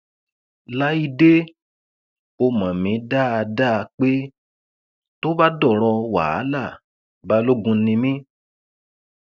láìdẹ ó mọ mí dáadáa pé tó bá dọrọ wàhálà balógun ni mí